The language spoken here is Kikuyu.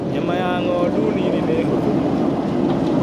Nyama ya ng'ondu nini nĩ hũthũ mũno.